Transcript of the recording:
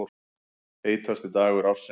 Heitasti dagur ársins